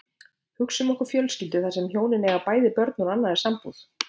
Hugsum okkur fjölskyldu þar sem hjónin eiga bæði börn úr annarri sambúð.